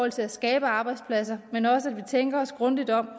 til at skabe arbejdspladser men også i tænke os grundigt om